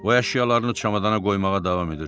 O əşyalarını çamadana qoymağa davam edirdi.